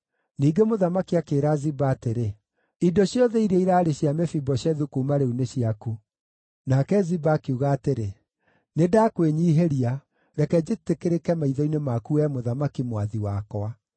Ningĩ mũthamaki akĩĩra Ziba atĩrĩ, “Indo ciothe iria iraarĩ cia Mefiboshethu kuuma rĩu nĩ ciaku.” Nake Ziba akiuga atĩrĩ, “Nĩndakwĩnyiihĩria; reke njĩtĩkĩrĩke maitho-inĩ maku, wee mũthamaki, mwathi wakwa.”